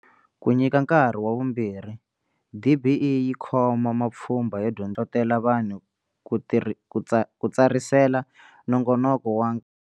Ku nyika nkarhi wa vumbirhi, DBE yi khoma mapfhumba yo dyondzisa miganga ku hlohlotela vanhu ku tsarisela nongonoko wa.